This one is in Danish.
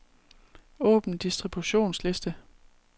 Åbn distributionsliste.